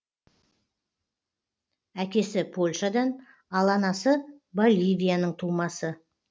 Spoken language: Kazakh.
әкесі польшадан ал анасы боливияның тумасы